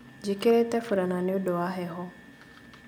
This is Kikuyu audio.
Njĩkĩrĩte burana nĩũndũ wa heho